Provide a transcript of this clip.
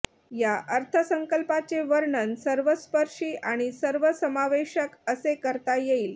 या अर्थसंकल्पाचे वर्णन सर्वस्पर्शी आणि सर्वसमावेशक असे करता येईल